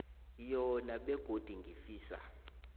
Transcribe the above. yona begodu ngifisa